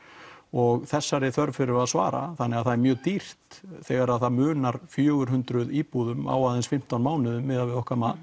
og þessari þörf þurfum við að svara þannig það er mjög dýrt þegar það munar fjögur hundruð íbúðum á aðeins fimmtán mánuðum miðað við okkar mat